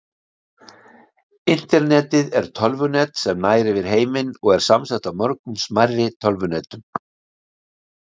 Internetið er tölvunet sem nær yfir heiminn og er samsett af mörgum smærri tölvunetum.